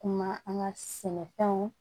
Kuma an ka sɛnɛfɛnw